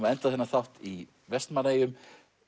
að enda þennan þátt í Vestmannaeyjum